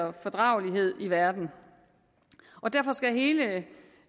og fordragelighed i verden derfor skal hele